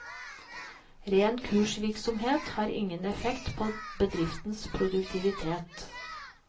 Ren kursvirksomhet har ingen effekt på bedriftens produktivitet.